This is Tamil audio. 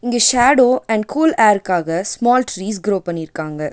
இங்க ஷேடோ அண்ட் கூல் ஏருக்காக ஸ்மால் ட்ரீஸ் குரோ பண்ணிருக்காங்க.